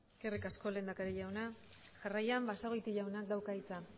eskerrik asko lehendakari jauna jarraian basagoiti jaunak dauka hitza